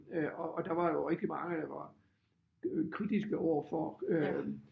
Øh og og der var jo rigtig mange der var kritiske overfor øh